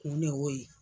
Kun de y'o ye